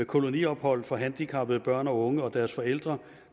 koloniophold for handicappede børn og unge og deres forældre